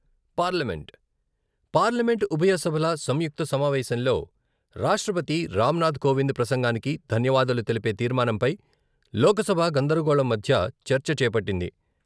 Parliament, parliament ఉభయ సభల సంయుక్త సమావేశంలో రాష్ట్రపతి రామనాధ్ కోవింద్ ప్రసంగానికి ధన్యావాదాలు తెలిపే తీర్మానంపై లోకసభ గందరగోళం మధ్య చర్చ చేపట్టింది.